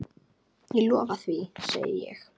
Ég lofa því, segi ég.